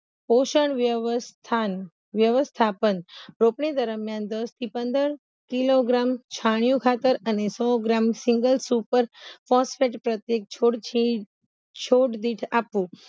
પોસણ વ્યવસ્થાની વ્યવસ્થાપન રોપણી દરમ્યાન દસથી પંદર કિલોગ્રામ છાણીયુ ખાતર અને સો ગ્રામ આપવું